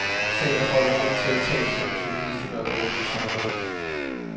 Sagen er for alvorlig til, at talsmænd og journalister bør drive politik på det.